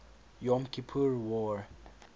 yom kippur war